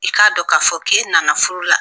I k'a dɔn k'a fɔ k'e na na furu la.